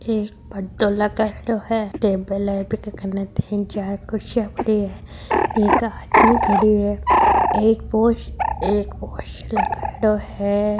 एक पर्दो लगाएड़ो है टेबल है बीके कने तीन चार कुर्सियां पड़ी है एक आदमी खड़यो है एक पोस्ट एक पोस्टर लगायोडो है।